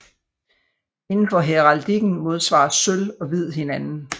Inden for heraldikken modsvarer sølv og hvid hinanden